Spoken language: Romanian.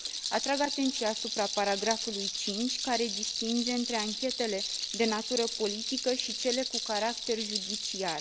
Atrag atenția asupra paragrafului 5, care distinge între anchetele de natură politică și cele cu caracter judiciar.